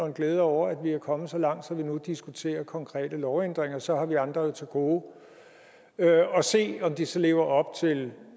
en glæde over at vi er kommet så langt at vi nu diskuterer konkrete lovændringer så har vi andre jo til gode at se om de så lever op til